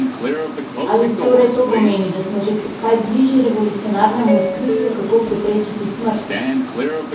Ali torej to pomeni, da smo že kaj bližje revolucionarnemu odkritju, kako preprečiti smrt?